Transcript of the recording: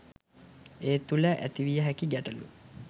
ඒ තුළ ඇතිවිය හැකි ගැටලූ